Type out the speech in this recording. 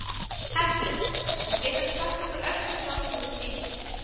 Hersir: Og geturðu sagt okkur örstutt frá þessari sýningu?